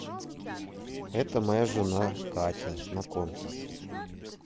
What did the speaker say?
это моя жена катя знакомьтесь